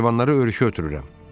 Heyvanları örüşə ötürürəm.